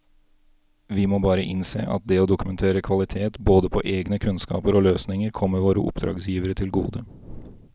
Vi må bare innse at det å dokumentere kvalitet både på egne kunnskaper og løsninger kommer våre oppdragsgivere til gode.